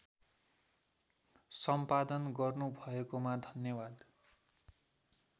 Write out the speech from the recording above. सम्पादन गर्नुभएकोमा धन्यवाद